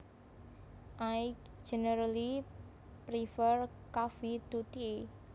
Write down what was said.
I generally prefer coffee to tea